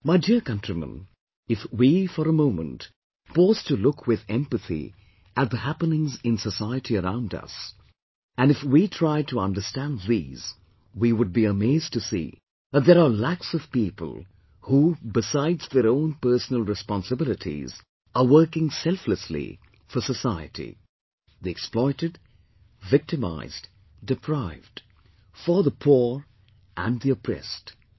My dear countrymen, if we, for a moment, pause to look with empathy at the happenings in society around us, and if we try to understand these, we would be amazed to see that there are lakhs of people, who besides their own personal responsibilities are working selflessly, for society the exploited, victimised, deprived; for the poor and the oppressed